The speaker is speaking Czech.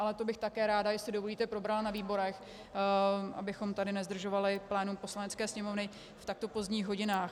Ale to bych také ráda, jestli dovolíte, probrala na výborech, abychom tady nezdržovali plénum Poslanecké sněmovny v takto pozdních hodinách.